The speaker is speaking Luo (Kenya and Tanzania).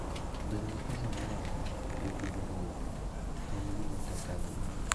Bedo gi pesa moromo e pidho ruedhi en gima tek ahinya.